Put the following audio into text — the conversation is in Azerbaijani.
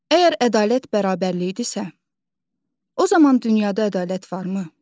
Əgər ədalət bərabərlikdirsə, o zaman dünyada ədalət varmı?